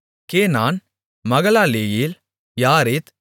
Canon Mahalalel Jared